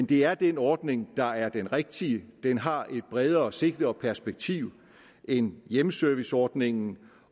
det er den ordning der er den rigtige den har et bredere sigte og perspektiv end hjemmeserviceordningen